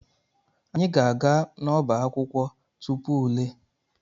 Anyị ga-aga n'ọbá akwụkwọ tupu ule.